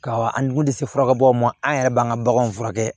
Ka an kun tɛ se furakɛbagaw ma an yɛrɛ b'an ka baganw furakɛ